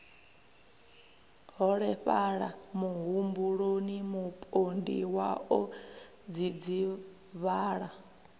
holefhala muhumbuloni mupondiwa o dzidzivhala